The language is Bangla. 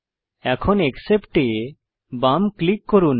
এখন অ্যাকসেপ্ট এ বাম ক্লিক করুন